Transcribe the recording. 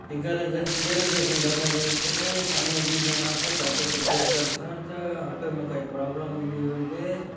इ गरज-- गैरेज जैसन दखा देयसे सामने दुई जन आसोत ऑटो को चेक करसोत आटो मे कई प्रॉबलम मिली होयते--